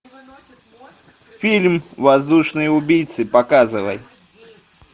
фильм воздушные убийцы показывай